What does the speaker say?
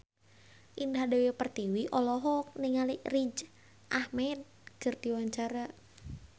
Indah Dewi Pertiwi olohok ningali Riz Ahmed keur diwawancara